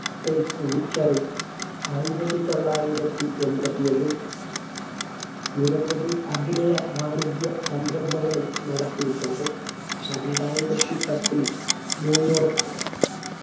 ആയിരത്തിത്തൊള്ളായിരത്തി എമ്പതിഒന്നിൽ നിരവധി അഭിനയ വാണിജ്യ സംരംഭങ്ങളും നടത്തിയിട്ടുണ്ട് രണ്ടായിരത്തി പത്തിൽ ന്യൂയോർക്ക്